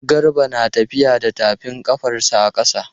Garba na tafiya da tafin ƙafarsa a ƙasa.